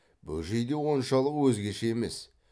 бөжей де оншалық өзгеше емес